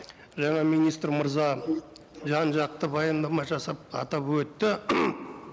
жаңа министр мырза жан жақты баяндама жасап атап өтті